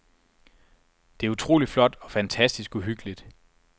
Det er utroligt flot og fantastisk uhyggeligt.